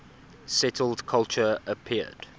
settled culture appeared